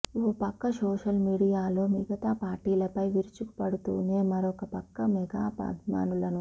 ఓ పక్క social media లో మిగతా పార్టీలపై విరుచుకపడుతూనే మరోపక్క మెగా అభిమానులను